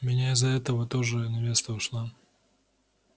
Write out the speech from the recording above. у меня из-за этого тоже невеста ушла